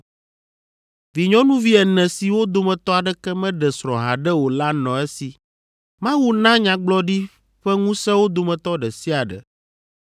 Vinyɔnuvi ene siwo dometɔ aɖeke meɖe srɔ̃ haɖe o la nɔ esi. Mawu na nyagblɔɖi ƒe ŋusẽ wo dometɔ ɖe sia ɖe.